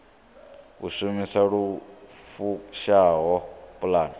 u shumisa lu fushaho pulane